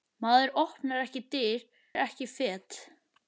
Maður opnar ekki dyr, fer ekki fet.